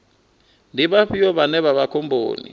ndi vhafhio vhane vha vha khomboni